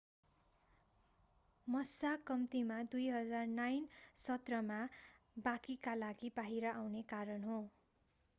massa कम्तिमा 2009 सत्रमा बाँकीका लागि बाहिर आउने कारण हो